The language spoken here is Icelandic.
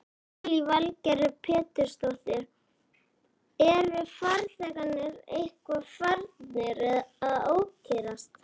Lillý Valgerður Pétursdóttir: Eru farþegarnir eitthvað farnir að ókyrrast?